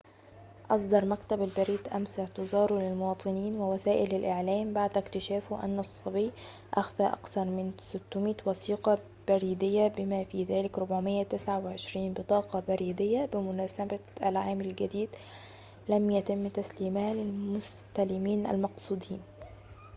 أصدر مكتب البريد أمس اعتذاره للمواطنين ووسائل الإعلام بعد اكتشافه أن الصبي أخفى أكثر من 600 وثيقة بريدية بما في ذلك 429 بطاقة بريدية بمناسبة العام الجديد لم يتم تسليمها للمستلمين المقصودين